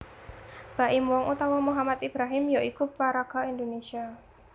Baim Wong utawa muhammad Ibrahim ya iku paraga Indonesia